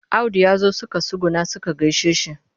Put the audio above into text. Audu ya zo suka tsuguna suka gaishe shi.